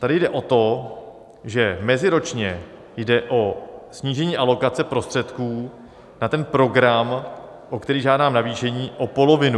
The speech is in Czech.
Tady jde o to, že meziročně jde o snížení alokace prostředků na ten program, pro který žádám navýšení o polovinu.